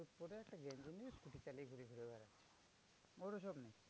ওর ওসব নেই।